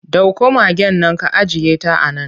Dauko magaen nan ka ajiyeta a nan!